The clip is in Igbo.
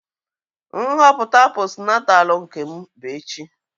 Nhọpụta posnatalu Nkem bụ echi.